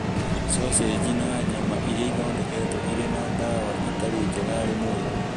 Thoseji na nyama iria ithondeketwo irĩ na ndawa itarĩ njega harĩ mwĩrĩ.